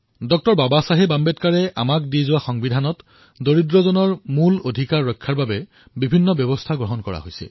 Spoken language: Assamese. ডঃ বাবা চাহেব আম্বেদকাৰৰ দ্বাৰা প্ৰদান কৰা সংবিধানত দুখীয় মূল অধিকাৰৰ ৰক্ষাৰ বাবে ব্যৱস্থা কৰা হৈছে